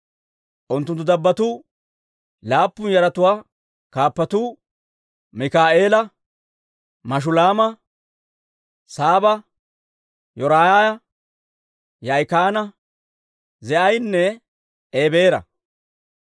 Unttunttu dabbotuu, laappun yaratuwaa kaappatuu, Mikaa'eela, Mashulaama, Saaba, Yoraaya, Yaa'ikaana, Zii'anne Ebeera.